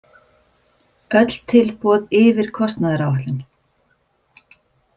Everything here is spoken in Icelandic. Öll tilboð yfir kostnaðaráætlun